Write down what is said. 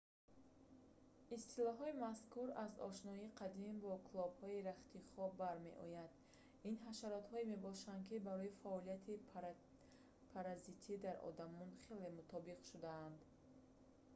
истилоҳои мазкур аз ошноии қадим бо клопҳои рахти хоб бармеояд ин ҳашаротҳое мебошанд ки барои фаъолияти паразитӣ дар одамон хеле мутобиқ шудаанд